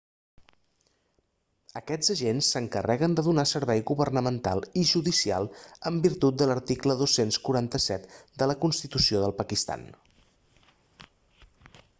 aquests agents s'encarreguen de donar servei governamental i judicial en virtut de l'article 247 de la constitució del pakistan